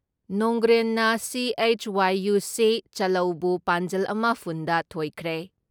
ꯅꯣꯡꯒ꯭ꯔꯦꯟꯅ ꯁꯤ.ꯑꯩꯆ.ꯋꯥꯏ.ꯌꯨ.ꯁꯤ. ꯆꯂꯧꯕꯨ ꯄꯥꯟꯖꯜ ꯑꯃ ꯐꯨꯟ ꯗ ꯊꯣꯏꯈ꯭ꯔꯦ ꯫